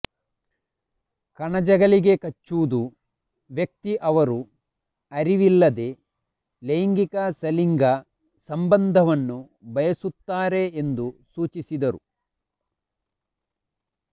ಕಣಜಗಳಿಗೆ ಕಚ್ಚುವುದು ವ್ಯಕ್ತಿ ಅವರು ಅರಿವಿಲ್ಲದೇ ಲೈಂಗಿಕ ಸಲಿಂಗ ಸಂಬಂಧವನ್ನು ಬಯಸುತ್ತಾರೆ ಎಂದು ಸೂಚಿಸಿದರು